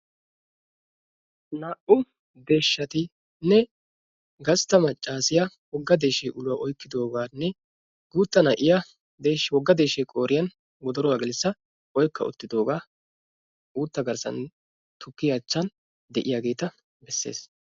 Naa"u deeshshatinne gastta maccaasiya wogga deeshshee uluwa oykkidoogaanne guutta na"iya wogga deeshshee qoiriyan wodoruwa gelissa oykka uttidoogaa uutta garssan tukkiya achchan diyageeta besses.